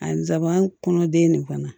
A nsaban kɔnɔ den nin fana